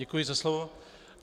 Děkuji za slovo.